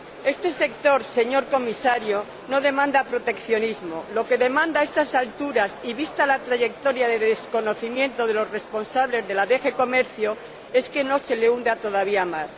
Este sector, señor Comisario, no demanda proteccionismo, lo que demanda a estas alturas y vista la trayectoria de desconocimiento de los responsables de la DG Comercio, es que no se le hunda todavía más.